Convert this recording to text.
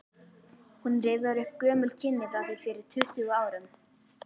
Hún rifjar upp gömul kynni frá því fyrir tuttugu árum.